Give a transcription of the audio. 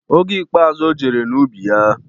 Oge ikpeazụ ojere n'ubi ya,